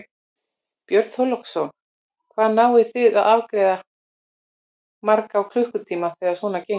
Björn Þorláksson: Hvað náið þið að afgreiða marga á klukkutíma þegar svona gengur?